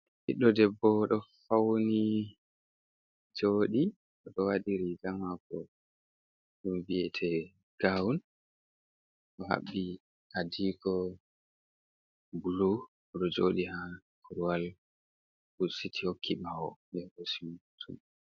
Ɓiɗɗo debbo ɗo fauni jooɗi, oɗo waɗi riga mako ɗum mbiyete gawun, waati adiko bulu oɗo jooɗi ha korwal husiti hokki ɓawo ɓe hoosimo hooto.